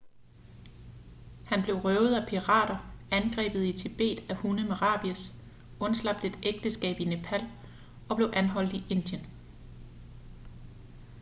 han blev røvet af pirater angrebet i tibet af en hund med rabies undslap et ægteskab i nepal og blev anholdt i indien